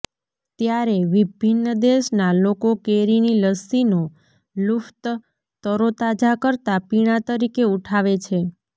ત્યારે વિભિન્ન દેશના લોકો કેરીની લસ્સીનો લુફ્ત તરોતાજા કરતા પીણા તરીકે ઉઠાવે છે